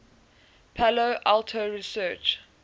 palo alto research